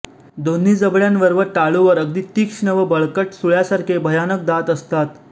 दोन्ही जबड्यांवर व टाळूवर अगदी तीक्ष्ण व बळकट सुळ्यासारखे भयानक दात असतात